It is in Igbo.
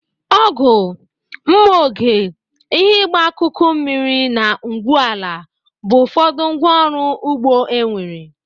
Ọgụ, nma oge, ihe ịgba akụkụ mmiri na ngwu ala bụ ụfọdụ ngwa ọrụ ugbo enwere.